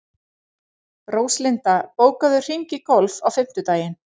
Róslinda, bókaðu hring í golf á fimmtudaginn.